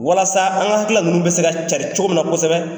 Walasa an ka hakilila ninnu bɛ se ka cari cogo min na kosɛbɛ